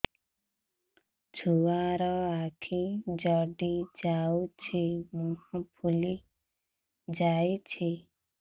ଛୁଆର ଆଖି ଜଡ଼ି ଯାଉଛି ମୁହଁ ଫୁଲି ଯାଇଛି